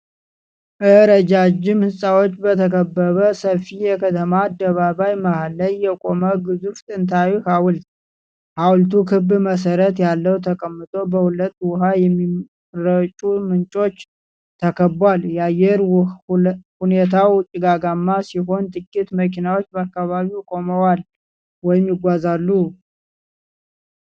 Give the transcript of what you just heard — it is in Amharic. ረጃጅም ህንጻዎች በተከበበ ሰፊ የከተማ አደባባይ መሃል ላይ የቆመ ግዙፍ ጥንታዊ ሀውልት። ሀውልቱ ክብ መሰረት ላይ ተቀምጦ በሁለት ውሃ የሚረጩ ምንጮች ተከቧል። የአየር ሁኔታው ጭጋጋማ ሲሆን ጥቂት መኪናዎች በአካባቢው ቆመዋል/ይጓዛሉ።